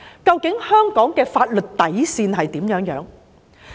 究竟香港的法律底線為何？